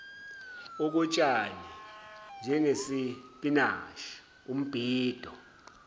okotshani njengesipinashi umbido